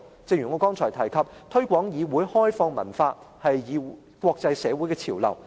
正如我剛才提及，"推廣議會開放文化"是國際社會的潮流。